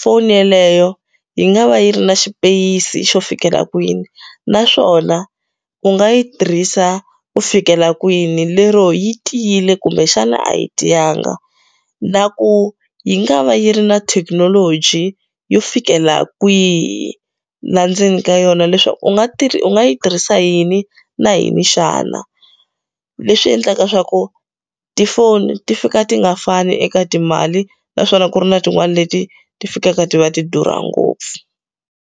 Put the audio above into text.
foni yeleyo yi nga va yi ri na xipeyisi xo fikela kwini naswona u nga yi tirhisa ku fikela kwini lero yi tiyile kumbexana a yi tiyanga na ku yi nga va yi ri na thekinoloji yo fikela kwihi la ndzeni ka yona leswaku u nga u nga yi tirhisa yini na yini xana leswi endlaka swa ku tifoni ti fika ti nga fani eka timali naswona ku ri na tin'wana leti ti fikaka ti va ti durha ngopfu.